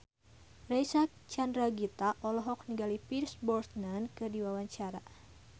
Reysa Chandragitta olohok ningali Pierce Brosnan keur diwawancara